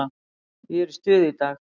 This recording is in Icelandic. Ég er í stuði í dag.